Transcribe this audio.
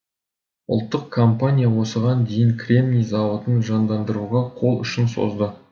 ұлттық компания осыған дейін кремний зауытын жандандыруға қол ұшын созды